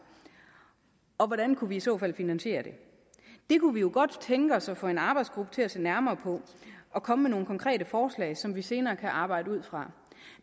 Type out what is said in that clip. og hvordan kunne vi i så fald finansiere det det kunne vi jo godt tænke os at få en arbejdsgruppe til at se nærmere på og komme med nogle konkrete forslag som vi senere kan arbejde ud fra